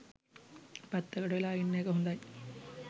පැත්තකට වෙලා ඉන්න එක හොඳයි.